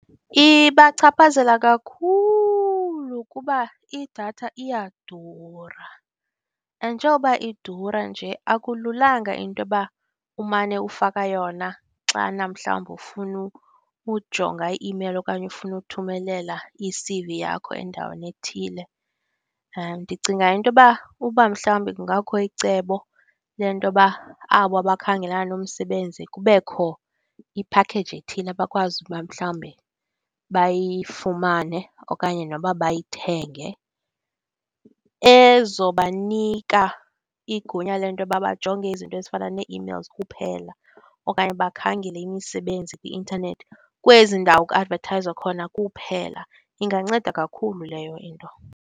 Ibachaphazela kakhulu kuba idatha iyadura! And njengoba iduru nje akululanga into yoba umane ufaka yona xana mhlawumbi ufuna ukujonga i-imeyile okanye ufuna uthumelela i-C_V yakho endaweni ethile. Ndicinga into yoba uba mhlawumbe kungakho icebo le nto yoba aba bakhengelana nomsebenzi kubekho iphakheyiji ethile ekwazi uba mhlawumbe bayifumane, okanye noba bayithenge. Ezobanika igunya le nto yoba bajonge izinto ezifana nee-emails kuphela okanye bakhangele imisebenzi kwi-intanethi kwezi ndawo kuadvethayizwa kuphela. Inganceda kakhulu leyo into.